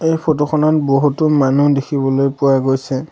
এই ফটো খনত বহুতো মানুহ দেখিবলৈ পোৱা গৈছে।